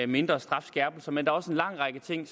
mindre strafskærpelser men også en lang række ting